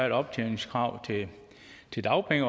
et optjeningskrav til dagpenge